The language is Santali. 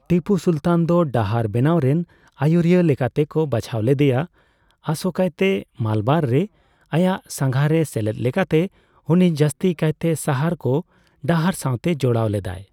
ᱴᱤᱯᱩ ᱥᱩᱞᱛᱟᱱ ᱫᱚ ᱰᱟᱦᱟᱨ ᱵᱮᱱᱟᱣᱨᱮᱱ ᱟᱭᱩᱨᱤᱭᱟᱹ ᱞᱮᱠᱟᱛᱮ ᱠᱚ ᱵᱟᱪᱷᱟᱣ ᱞᱮᱫᱭᱟ, ᱟᱥᱚᱠᱟᱭᱛᱮ ᱢᱟᱞᱟᱵᱟᱨ ᱨᱮ, ᱟᱭᱟᱜ ᱥᱟᱸᱜᱷᱟᱨᱨᱮ ᱥᱮᱞᱮᱫ ᱞᱮᱠᱟᱛᱮ, ᱩᱱᱤ ᱡᱟᱹᱥᱛᱤ ᱠᱟᱭᱛᱮ ᱥᱟᱦᱟᱨ ᱠᱚ ᱰᱟᱦᱟᱨ ᱥᱟᱸᱣᱛᱮ ᱡᱚᱲᱟᱣ ᱞᱮᱫᱟᱭ ᱾